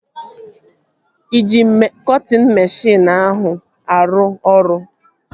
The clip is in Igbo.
Ị ji cọtịn meshịn ahụ arụ ọrụ?